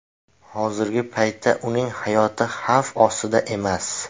Hozirgi paytda uning hayoti xavf ostda emas.